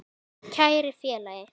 Kæri félagi.